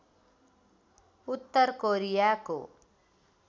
उत्तर कोरियाको